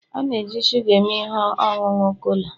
a na-eji shuga eme ihe ọṅụṅụ cola